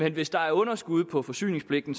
at hvis der er underskud på forsyningspligten